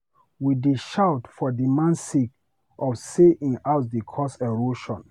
We dey shout for di man sake of sey im house dey cause erosion.